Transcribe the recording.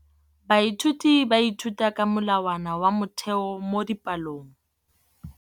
Baithuti ba ithuta ka molawana wa motheo mo dipalong.